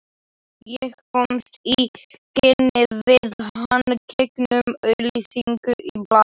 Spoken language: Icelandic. Ég komst í kynni við hann gegnum auglýsingu í blaði.